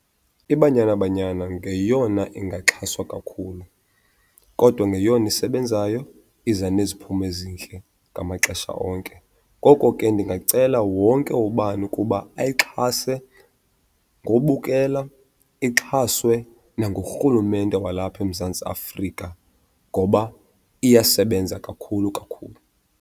IBanyana Banyana ngeyona ingaxhaswa kakhulu kodwa ngeyona isebenzayo iza neziphumo ezihle ngamaxesha onke. Ngoko ke ndingacela wonke ubani ukuba ayixhase ngobukela, ixhaswe nangurhulumente walapha eMzantsi Afrika ngoba iyasebenza kakhulu kakhulu.